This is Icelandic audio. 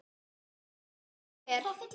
og ef svo er, hver?